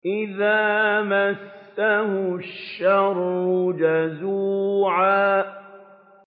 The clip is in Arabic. إِذَا مَسَّهُ الشَّرُّ جَزُوعًا